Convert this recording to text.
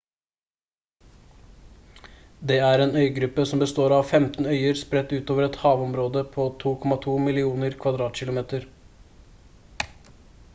det er en øygruppe som består av 15 øyer spredt ut over et havområde på 2,2 millioner km2